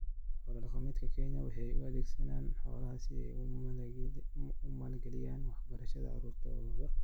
Xoolo-dhaqatada Kenya waxay u adeegsadaan xoolaha si ay u maalgeliyaan waxbarashada carruurtooda.